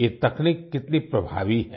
ये तकनीक कितनी प्रभावी है